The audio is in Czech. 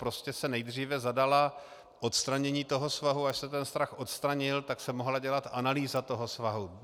Prostě se nejdříve zadalo odstranění toho svahu, až se ten svah odstranil, tak se mohla dělat analýza toho svahu.